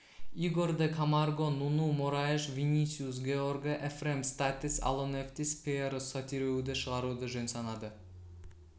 игор де камарго нуну мораиш винисиус георге эфрем статис алонефтис пиерос сотириуді шығаруды жөн санады